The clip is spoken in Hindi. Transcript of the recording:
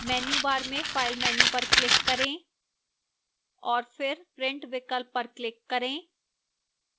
menu bar में file menu पर click करें और फिर print विकल्प पर click करें